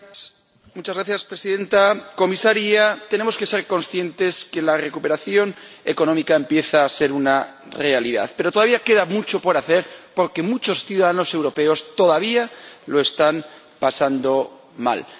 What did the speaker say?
Señora Presidenta, señora Comisaria, tenemos que ser conscientes de que la recuperación económica empieza a ser una realidad, pero todavía queda mucho por hacer, porque muchos ciudadanos europeos todavía lo están pasando mal.